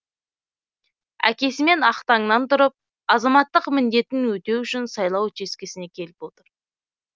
әкесімен ақ таңнан тұрып азаматтық міндетін өтеу үшін сайлау учаскесіне келіп отыр